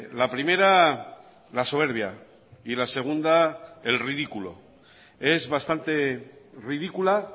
la primera la soberbia y la segunda el ridículo es bastante ridícula